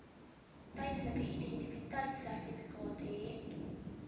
tydelike identiteitsertifikaat hê